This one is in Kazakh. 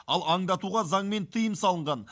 ал аңды атуға заңмен тыйым салынған